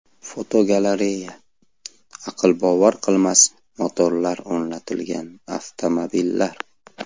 Fotogalereya: Aqlbovar qilmas motorlar o‘rnatilgan avtomobillar.